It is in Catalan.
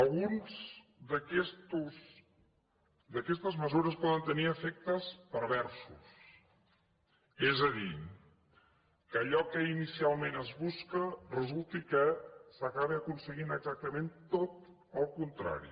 algunes d’aquestes mesures poden tenir efectes perversos és a dir que en allò que inicialment es busca resulti que s’acabi aconseguint exactament tot el contrari